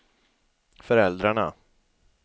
föräldrarna